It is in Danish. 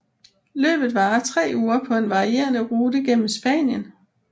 Løbet varer tre uger på en varierende rute gennem Spanien